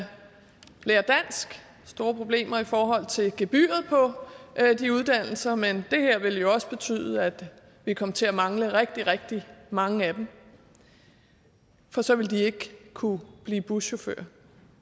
store problemer i forhold til gebyret på de uddannelser men det her ville jo også betyde at vi kom til at mangle rigtig rigtig mange af dem for så ville de ikke kunne blive buschauffør